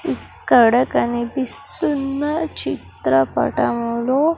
ఇక్కడ కనిపిస్తున్న చిత్రపటంలో --